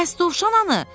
Bəs dovşanı?